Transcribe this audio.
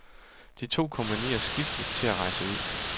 De to kompagnier skiftes til at rejse ud.